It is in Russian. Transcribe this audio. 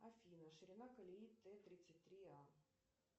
афина ширина колеи т тридцать три а